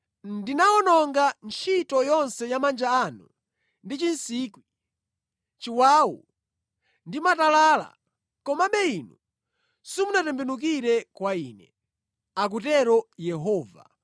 Ndinawononga ntchito yonse ya manja anu ndi chinsikwi, chiwawu ndi matalala, komabe inu simunatembenukire kwa Ine,’ akutero Yehova